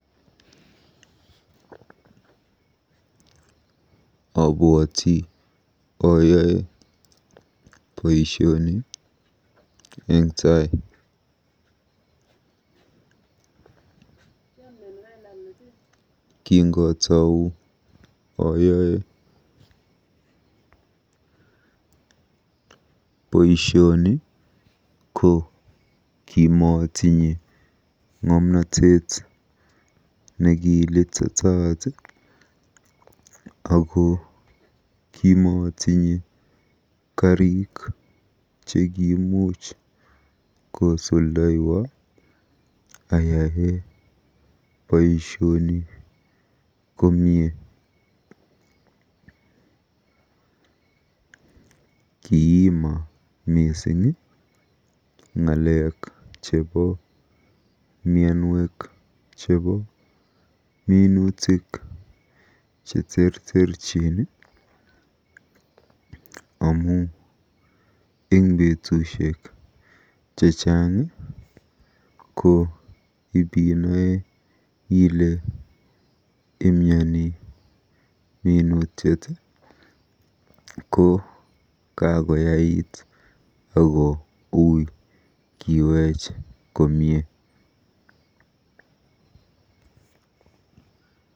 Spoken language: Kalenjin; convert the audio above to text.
Obwoti oyoe boisioni eng tai. Kingotou oyoe boisioni netai ko kimootinye ng'omnotet nekilititaat ako kimootinye kariik chekiimuch kosuldaywa ayae boisioni komie. Kiima mising ng'alek chebo mianwek cheterterchin chebo minutik amu eng betussiek chechang ko ibinae ile imyani minutiet ko kakoyait ako ui kiweech koek komie .